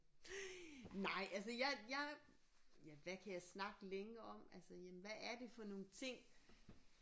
Nej altså jeg jeg ja hvad kan jeg snakke længe om altså jamen hvad er det for nogle ting